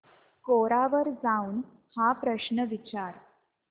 कोरा वर जाऊन हा प्रश्न विचार